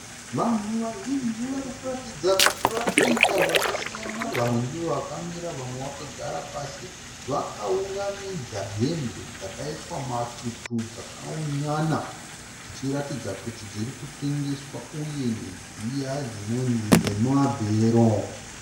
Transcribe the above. Vanhu vazhinji varikuratidza kuti vari kuita zvakasiyana, vamwe ndovakamira , vamwe vakagara pasi. Vakaunganidza hembe dzakaitwa matutu dzakaunyana dzichiratidza kuti dzirikutengeswa uye ndedziya dzinonzi dzemumabhero.